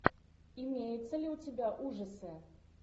имеется ли у тебя ужасы